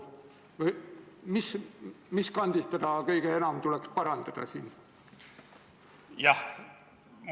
Või mis kandist teda kõige enam tuleks parandada?